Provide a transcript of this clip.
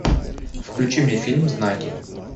включи мне фильм знаки